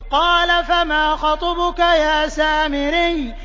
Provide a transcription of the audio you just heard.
قَالَ فَمَا خَطْبُكَ يَا سَامِرِيُّ